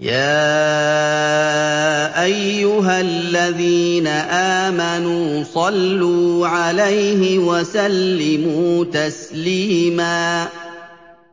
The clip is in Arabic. يَا أَيُّهَا الَّذِينَ آمَنُوا صَلُّوا عَلَيْهِ وَسَلِّمُوا تَسْلِيمًا